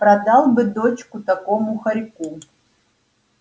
продал бы дочку такому хорьку